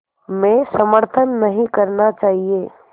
में समर्थन नहीं करना चाहिए